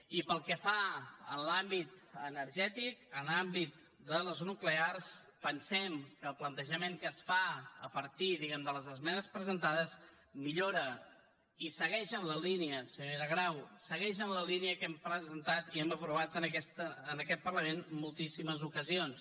i pel que fa a l’àmbit energètic a l’àmbit de les nuclears pensem que el plantejament que es fa a partir diguem ne de les esmenes presentades millora i segueix en la línia senyora grau que hem presentat i aprovat en aquest parlament en moltíssimes ocasions